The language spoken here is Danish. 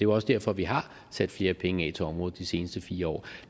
også derfor vi har sat flere penge af til området de seneste fire år